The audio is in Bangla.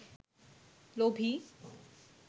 লোভী